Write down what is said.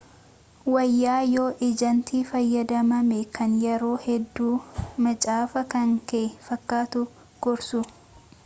wayyaa yoo ejantii fayyadamamee kan yeroo hedduu macaafa kan kee fakkatu gorsu